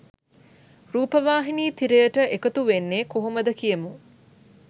රූපවාහිනී තිරයට එකතු වෙන්නේ කොහොමද කියමු?